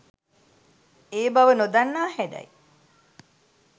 ඒ බව නොදන්නා හැඩයි